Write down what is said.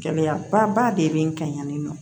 Gɛlɛyaba de bɛ n kan yan nɔ